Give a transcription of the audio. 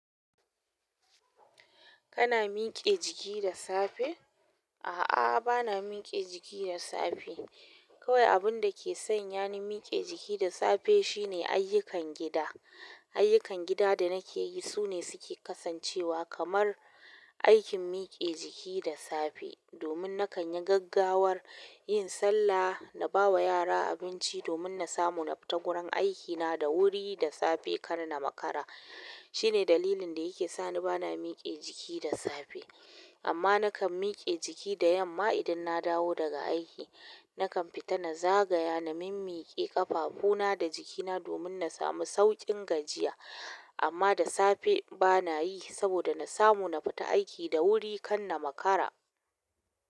Kana miƙe jiki da safe? A'a, bana miƙe jiki da safe. Kawai abun da ke sanya ni miƙe jiki da safe shine ayyukan gida. Ayyukan gida da nake yi sune suke kasancewa kamar aikin miƙe jiki da safe. Domin na kan yi gaggawar yin sallah, na ba wa yara abinci, domin na samu na fita gurin aikina da wuri da safe, kar na makara. Shine dalilin da yake sani bana mike jiki da safe. Amma na kan miƙe jiki da yamma idan na dawo daga aiki. Na kan fita na zagaya, na mimmiƙe ƙafafu na da jikina domin na samu sauƙin gajiya. Amma da safe bana yi saboda na samu na fita aiki da wuri kar na makara.